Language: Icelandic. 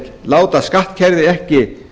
láta skattkerfið ekki